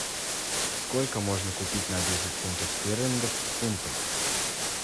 сколько можно купить на десять фунтов стерлингов фунтов